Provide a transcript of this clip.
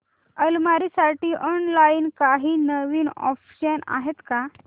अलमारी साठी ऑनलाइन काही नवीन ऑप्शन्स आहेत का